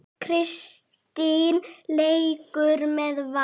Kristín leikur með Val.